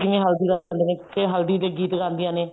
ਜਿਵੇਂ ਹਲਦੀ ਲਗਾਉਂਦੇ ਨੇ ਤੇ ਹਲਦੀ ਦੇ ਗੀਤ ਗਾਉਂਦੀਆਂ ਨੇ